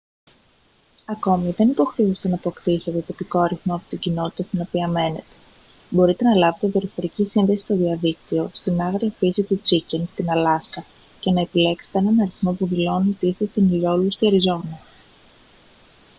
ακόμη δεν υποχρεούστε να αποκτήσετε τοπικό αριθμό από την κοινότητα στην οποία μένετε μπορείτε να λάβετε δορυφορική σύνδεση στο διαδίκτυο στην άγρια φύση του chicken στην αλάσκα και να επιλέξετε έναν αριθμό που δηλώνει ότι είστε στην ηλιόλουστη αριζόνα